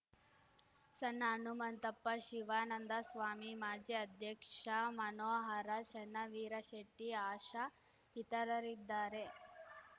ಸಣ್ಣ ಹನುಮಂತಪ್ಪ ಶಿವಾನಂದ ಸ್ವಾಮಿ ಮಾಜಿ ಅಧ್ಯಕ್ಷ ಮನೋಹರ ಚೆನ್ನವೀರಶೆಟ್ಟಿ ಆಶಾ ಇತರರಿದ್ದಾರೆ